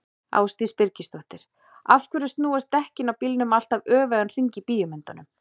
Ásdís Birgisdóttir: Af hverju snúast dekkin á bílum alltaf öfugan hring í bíómyndum?